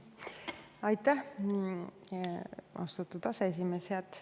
Aitäh, austatud aseesimees!